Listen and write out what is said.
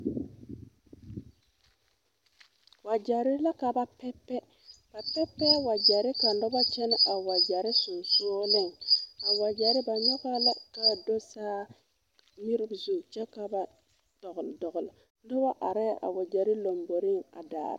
Wagyɛre la ka ba pɛpɛ, ba pɛpɛɛ wagyɛre kaa noba kyɛne a wagyɛre sensɔleŋ a wagyɛre ba nyɔgaa la kaa do saa miiri zu kyɛ ka ba dɔgeli dɔgeli noba are a wagyɛre lambori a daara.